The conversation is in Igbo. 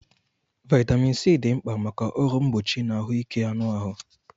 Vaitamin C dị mkpa maka ọrụ mgbochi na ahụike anụ ahụ